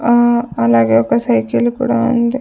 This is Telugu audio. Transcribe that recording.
ఆ అలాగే ఒక సైకిల్ కూడా ఉంది.